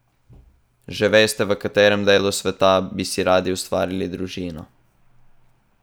Že veste, v katerem delu sveta bi si radi ustvarili družino?